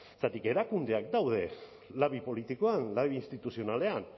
zergatik erakundeak daude labi politikoan labi instituzionalean